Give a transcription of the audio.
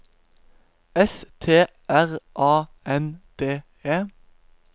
S T R A N D E